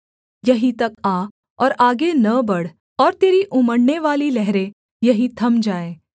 यहीं तक आ और आगे न बढ़ और तेरी उमड़नेवाली लहरें यहीं थम जाएँ